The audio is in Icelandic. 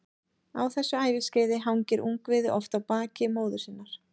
Á þessu æviskeiði hangir ungviðið oft á baki móður sinnar.